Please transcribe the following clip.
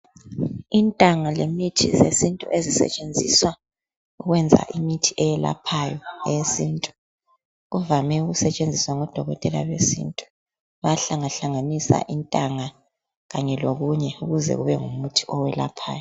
Intanga lemithi yesintu. Ezisetshenziswa ukwenza imithi eyelaphayo eyesintu. Kuvame ukusetshenziswa ngodokotela besintu. Bayahlangahlanganisa, intanga, lokunye, ukuze kube ngumuthi owelaphayo.